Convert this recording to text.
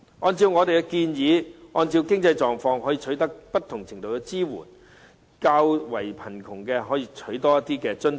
按照我們的建議，按經濟狀況可取得不同程度的支援，較為貧窮的人士可以多取一些津貼。